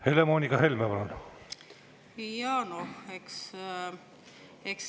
Helle-Moonika Helme, palun!